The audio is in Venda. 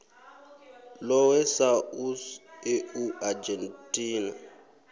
lohe sa us eu argentina